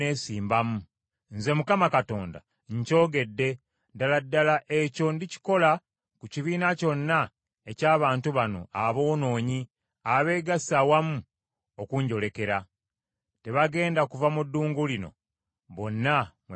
Nze, Mukama Katonda, nkyogedde; ddala ddala ekyo ndikikola ku kibiina kyonna eky’abantu bano aboonoonyi abeegasse awamu okunjolekera. Tebagenda kuva mu ddungu lino, bonna mwe balifiira.’ ”